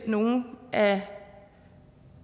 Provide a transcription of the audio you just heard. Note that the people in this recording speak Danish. nogle af